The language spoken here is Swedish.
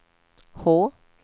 H